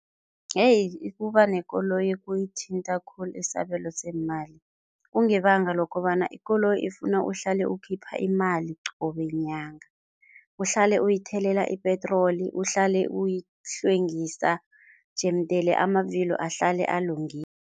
Yeyi, ukuba nekoloyi kuyithinta khulu isabelo seemali kungebanga lokobana ikoloyi ifuna uhlale ukhipha imali qobe nyanga, uhlale uyithelela ipetroli, uhlale uyihlwengisa, jemdele amavillo ahlale alungile.